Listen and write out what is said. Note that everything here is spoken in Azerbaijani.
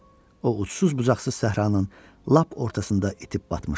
O ucsuz-bucaqsız səhranın lap ortasında itib batmışdı.